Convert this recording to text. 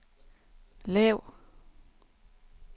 lav